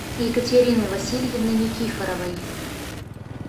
екатерины васильевны никифоровой